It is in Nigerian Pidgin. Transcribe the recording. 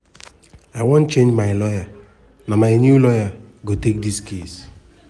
"i wan change my lawyer na my new lawyer go take di case.